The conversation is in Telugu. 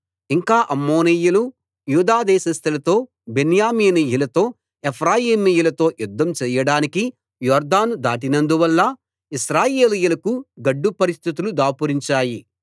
ఇంక అమ్మోనీయులు యూదాదేశస్థులతో బెన్యామీనీయులతో ఎఫ్రాయిమీయులతో యుద్ధం చెయ్యడానికి యొర్దాను దాటినందువల్ల ఇశ్రాయేలీయులకు గడ్డు పరిస్థితులు దాపురించాయి